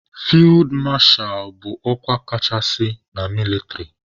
Fid masha bụ ọkwa kachasị na mịlịtrị.